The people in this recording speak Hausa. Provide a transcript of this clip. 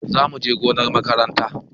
Za mu je gonar makaranta.